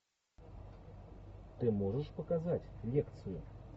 ты можешь показать лекцию